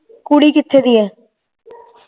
ਕੁੜੀ ਕਿਥੇ ਦੀ ਐ